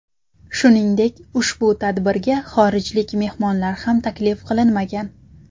Shuningdek ushbu tadbirga xorijlik mehmonlar ham taklif qilinmagan.